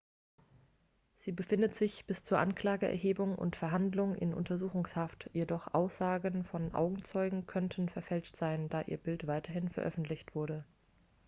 sie befindet sich bis zur anklageerhebung und verhandlung in untersuchungshaft doch aussagen von augenzeugen könnten verfälscht sein da ihr bild weithin veröffentlicht wurde